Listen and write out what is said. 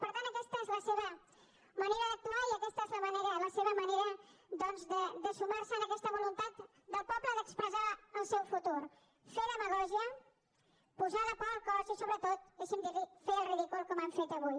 per tant aquesta és la seva manera d’actuar i aquesta és la seva manera doncs de sumar se a aquesta voluntat del poble d’expressar el seu futur fer demagògia posar la por al cos i sobretot deixi’m dir li ho fer el ridícul com han fet avui